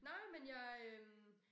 Nej men jeg øh